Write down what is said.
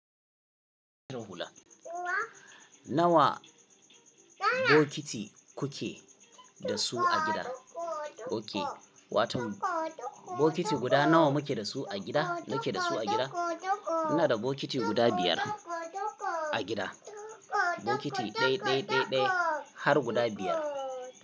Nawa bokiti kuke da su a gida? Oke, watan bokiti guda nawa muke da su a gida, muke da su a gida? Muna da bokiti guda biyar a gida. Bokiti ɗaya, ɗaya, ɗaya, ɗaya har guda biyar.